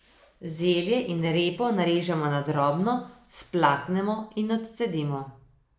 Zelje in repo narežemo na drobno, splaknemo in odcedimo.